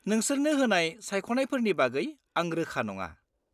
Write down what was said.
-नोंसोरनो होनाय सायख'नायफोरनि बागै आं रोखा नङा।